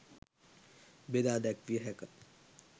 බෙදා දැක්විය හැක